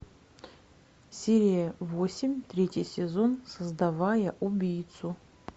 серия восемь третий сезон создавая убийцу